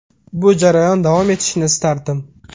Bu jarayon davom etishini istardim.